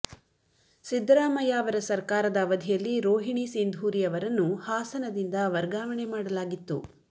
ಸಿದ್ದರಾಮಯ್ಯ ಅವರ ಸರ್ಕಾರದ ಅವಧಿಯಲ್ಲಿ ರೋಹಿಣಿ ಸಿಂಧೂರಿ ಅವರನ್ನು ಹಾಸನದಿಂದ ವರ್ಗಾವಣೆ ಮಾಡಲಾಗಿತ್ತು